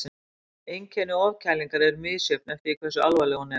Einkenni ofkælingar eru misjöfn eftir því hversu alvarleg hún er.